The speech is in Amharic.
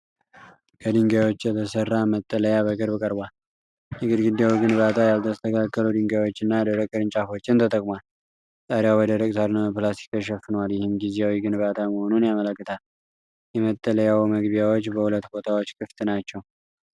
ከድንጋዮች የተሠራ መጠለያ በቅርብ ቀርቧል። የግድግዳው ግንባታ ያልተስተካከሉ ድንጋዮችና ደረቅ ቅርንጫፎችን ተጠቅሟል። ጣሪያው በደረቅ ሣርና በፕላስቲክ ተሸፍኗል፤ ይህም ጊዜያዊ ግንባታ መሆኑን ያመለክታል። የመጠለያው መግቢያዎች በሁለት ቦታዎች ክፍት ናቸው።